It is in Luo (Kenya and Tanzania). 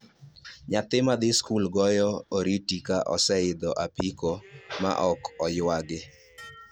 Nyathi madhi skul goyo oriti ka oseidho apiko ma ok oywagi